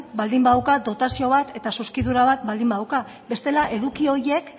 baldin badauka dotazio bat eta zuzkidura bat baldin badauka bestela eduki horiek